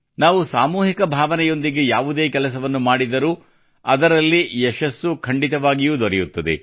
ನಾವು ಸಾಮೂಹಿಕ ಭಾವನೆಯೊಂದಿಗೆ ಯಾವುದೇ ಕೆಲಸವನ್ನು ಮಾಡಿದರೂ ಅದರಲ್ಲಿ ಯಶಸ್ಸು ಖಂಡಿತವಾಗಿಯೂ ದೊರೆಯುತ್ತದೆ